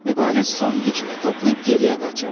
Mübariz son gücünü toplayıb geriyə qaçırdı.